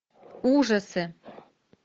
ужасы